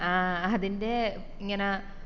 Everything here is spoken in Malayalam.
ആഹ് അതിൻറെ ഇങ്ങനാ